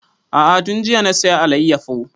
A'a tun jiya na saya alayyafo